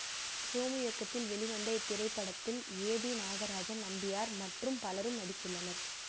சோமு இயக்கத்தில் வெளிவந்த இத்திரைப்படத்தில் ஏ பி நாகராஜன் நம்பியார் மற்றும் பலரும் நடித்துள்ளனர்